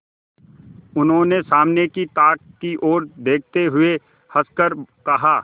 उन्होंने सामने की ताक की ओर देखते हुए हंसकर कहा